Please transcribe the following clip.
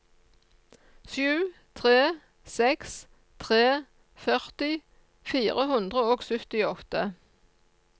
sju tre seks tre førti fire hundre og syttiåtte